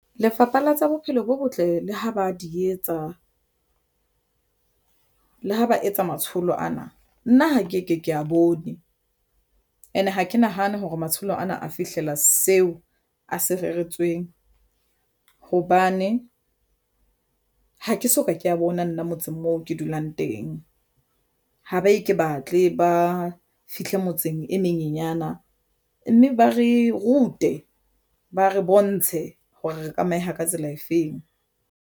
Lefapha la tsa Bophelo bo Botle le ho ba di etsa le ha ba etsa matsholo ana. Nna ha ke ke ke a bone and ha ke nahane hore matsholo ana a fihlela seo a se reretsweng hobane ha ke soka ke a bona nna motseng moo ke dulang teng ho ba e ke batle ba fihle motseng e menyenyana mme ba re rute, ba re bontshe hore re tlameha ka tsela efeng.